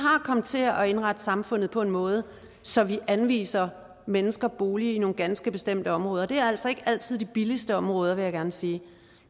kommet til at indrette samfundet på en måde så vi anviser mennesker boliger i nogle ganske bestemte områder og det er altså ikke altid de billigste områder vil jeg gerne sige